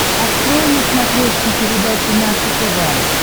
открой на смотрешке передачу наше тв